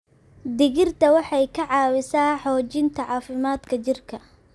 Digirta waxay ka caawisaa xoojinta caafimaadka jirka.